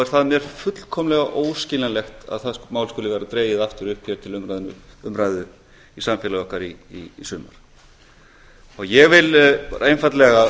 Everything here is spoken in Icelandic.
er það mér fullkomlega óskiljanlegt að það mál skuli vera dregið aftur upp hér til umræðu í samfélagi okkar í sumar ég vil einfaldlega